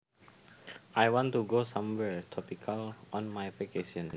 I want to go somewhere tropical on my vacation